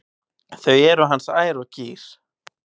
Þau eru hans ær og kýr.